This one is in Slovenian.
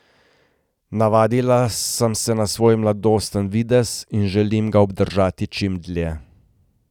Navadila sem se na svoj mladosten videz in želim ga obdržati čim dlje.